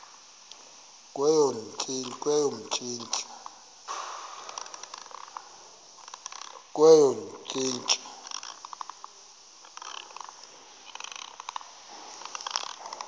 kweyomntsintsi